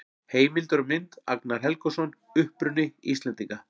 Heimildir og mynd: Agnar Helgason: Uppruni Íslendinga.